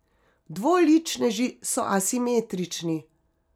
Dvoličneži so asimetrični.